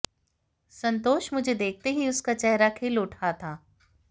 संतोष मुझे देखते ही उसका चेहरा खिल उठा था